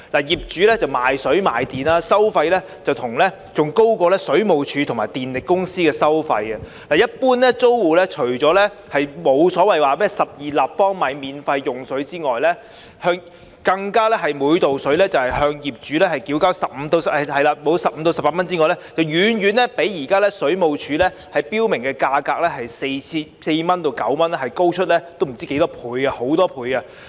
業主賣水賣電，收費比水務署和電力公司還高，一般租戶除了首12立方米的用水不會獲免費供應外，更要每立方米食水向業主繳交15元至18元不等，遠遠比水務署現時標明的價格，即4元至9元，高出很多。